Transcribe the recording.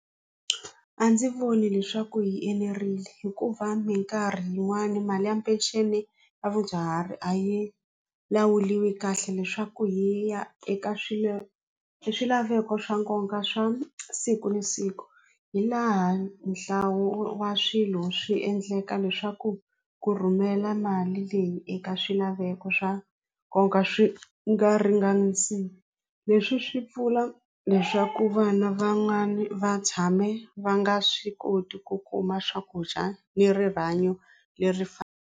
A ndzi voni leswaku hi enerile hikuva mikarhi yin'wani mali ya peceni ya vadyuhari a yi lawuriwi kahle leswaku hi ya eka swilo swilaveko swa nkoka swa siku na siku hi laha nhlawulo wa swilo swi endleka leswaku ku rhumela mali leyi eka swilaveko swa nkoka swi nga ringanisi leswi swi pfuna leswaku vana van'wani va tshame va nga swi koti ku kuma swakudya ni rihanyo leri .